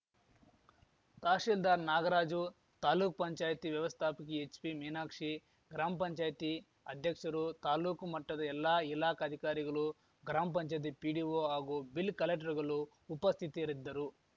ತಹಸೀಲ್ದಾರ್‌ ನಾಗರಾಜು ತಾಲೂಕ್ಪಂಚಾಯ್ತಿ ವ್ಯವಸ್ಥಾಪಕಿ ಎಚ್‌ಪಿ ಮೀನಾಕ್ಷಿ ಗ್ರಾಮಪಂಚಾಯ್ತಿ ಅಧ್ಯಕ್ಷರು ತಾಲೂಕು ಮಟ್ಟದ ಎಲ್ಲಾ ಇಲಾಖಾಧಿಕಾರಿಗಲು ಗ್ರಾಮ ಪಂಚಾಯ್ತಿ ಪಿಡಿಓ ಹಾಗೂ ಬಿಲ್‌ ಕಲೆಕ್ಟರ್‌ಗಲು ಉಪಸ್ಥಿತರಿದ್ದರು